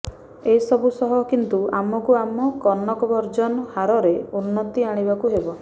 ଏସବୁ ସହ କିନ୍ତୁ ଆମକୁ ଆମ କନଭର୍ଜନ ହାରରେ ଉନ୍ନତି ଆଣିବାକୁ ହେବ